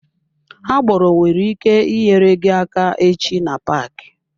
Agboro nwere ike nyere gị aka echi na paaki.